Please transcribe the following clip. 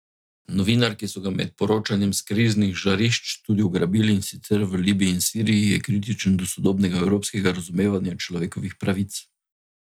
Novinar, ki so ga med poročanjem s kriznih žarišč tudi ugrabili, in sicer v Libiji in Siriji, je kritičen do sodobnega evropskega razumevanja človekovih pravic.